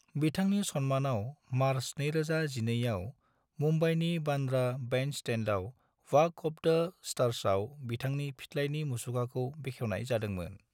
बिथांनि सन्मानाव मार्च 2012 आव मुंबाईनि बांद्रा बैंडस्टैंडआव वाक अफ द स्टार्सआव बिथांनि फिथलाइनि मुसुखाखौ बेखेवनाय जादोंमोन।